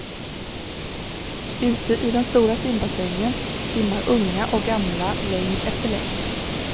Ute i den stora simbassängen simmar unga och gamla längd efter längd.